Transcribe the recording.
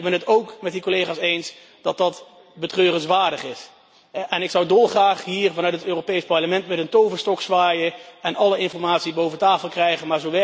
Ik ben het ook met die collega's eens dat dat betreurenswaardig is en ik zou dolgraag hier vanuit het Europees Parlement met een toverstok zwaaien en alle informatie boven tafel krijgen.